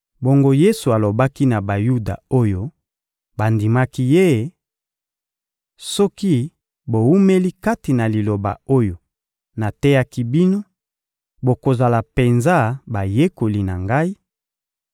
Bongo Yesu alobaki na Bayuda oyo bandimaki Ye: — Soki bowumeli kati na Liloba oyo nateyaki bino, bokozala penza bayekoli na Ngai,